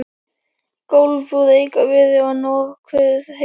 Gólf úr rekaviði og nokkuð heilt.